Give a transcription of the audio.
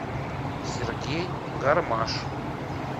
сергей гармаш